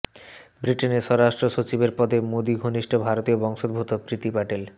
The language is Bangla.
ব্রিটেনের স্বরাষ্ট্র সচিবের পদে মোদী ঘনিষ্ঠ ভারতীয় বংশোদ্ভূত প্রীতি প্যাটেল